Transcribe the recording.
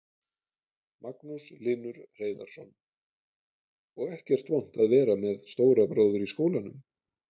Magnús Hlynur Hreiðarsson: Og ekkert vont að vera með stóra bróður í skólanum?